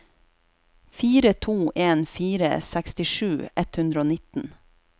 fire to en fire sekstisju ett hundre og nitten